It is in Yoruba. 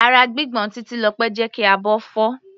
Ara gbígbọ̀n Titilope jẹ́ kí abọ́ fọ́.